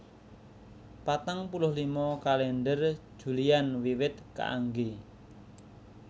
Patang puluh lima Kalèndher Julian wiwit kaanggé